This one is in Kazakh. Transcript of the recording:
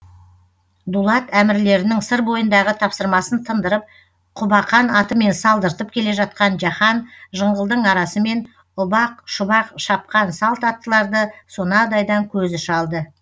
дулат әмірлерінің сыр бойындағы тапсырмасын тындырып құбақан атымен салдыртып келе жатқан жаһан жыңғылдың арасымен ұбақ шұбақ шапқан салт аттыларды сонадайдан көзі шалды